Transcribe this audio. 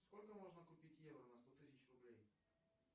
сколько можно купить евро на сто тысяч рублей